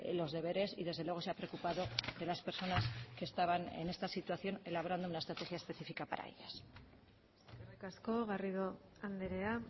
los deberes y desde luego se ha preocupado de las personas que estaban en esta situación elaborando una estrategia específica para ellas eskerrik asko garrido andrea